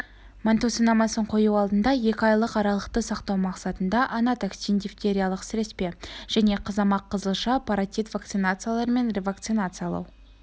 манту сынамасын қою алдында екі айлық аралықты сақтау мақсатында анатоксин дифтериялық-сіреспе және қызамық-қызылша-паротит вакцинацияларымен ревакцинациялау